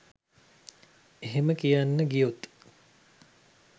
එහෙම කියන්න ගියොත්